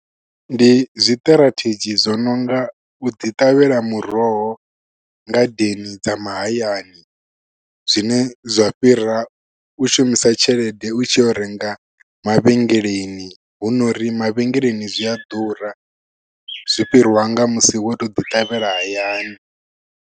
Ndi zwiṱirathedzhi zwo nonga u ḓi ṱavhela muroho ngadeni dza mahayani zwine zwa fhira u shumisa tshelede u tshi renga mavhengeleni hu nori mavhengeleni zwi a ḓura zwi fhirwa nga musi wo to ḓi ṱavhela hayani.